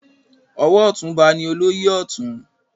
Ọwọ ọtún ọba ni olóyè Ọ̀tún.